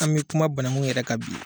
An bɛ kuma bananku yɛrɛ ka bi.